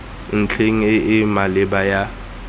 ntlheng e e maleba ya